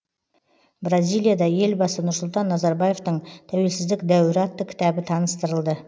бразилияда елбасы нұрсұлтан назарбаевтың тәуелсіздік дәуірі атты кітабы таныстырылды